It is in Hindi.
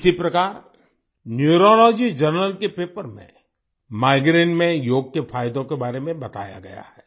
इसी प्रकार न्यूरोलॉजी जर्नल के पेपर में माइग्रेन में योग के फायदों के बारे में बताया गया है